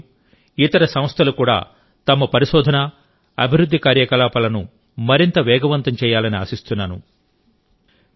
ఐఐటిలు ఇతర సంస్థలు కూడా తమ పరిశోధన అభివృద్ధి కార్యకలాపాలను మరింత వేగవంతం చేయాలని ఆశిస్తున్నాను